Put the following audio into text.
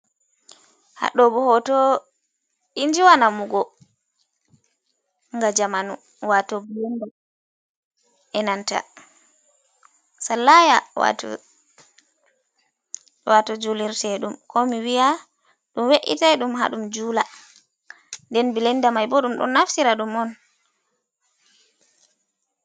Haa ɗo bo hooto, injiwa namugo nga jamanu waato bilenda, e nanta salaya waato julirteeɗum, ko mi wiya ɗum we’itay ɗum, haa ɗum juula. Nden bilenda may bo, ɗum ɗon naftira ɗum on.